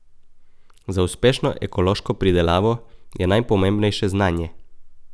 Za uspešno ekološko pridelavo je najpomembnejše znanje.